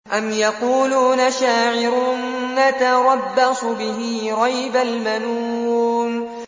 أَمْ يَقُولُونَ شَاعِرٌ نَّتَرَبَّصُ بِهِ رَيْبَ الْمَنُونِ